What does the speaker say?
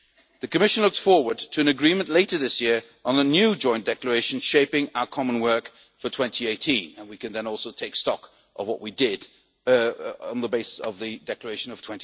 stick to them. The Commission looks forward to an agreement later this year on the new Joint Declaration shaping our common work for 2018 and we can then also take stock of what we did on the basis of the